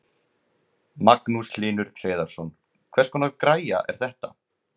Magnús Hlynur Hreiðarsson: Hvers konar græja er þetta?